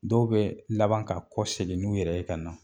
Dɔw bɛ laban ka kɔ segin n'u yɛrɛ ye ka na.